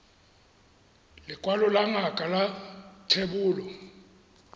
lekwalo la ngaka la thebolo